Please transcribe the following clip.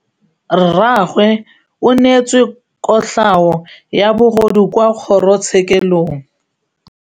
Rragwe o neetswe kotlhaô ya bogodu kwa kgoro tshêkêlông.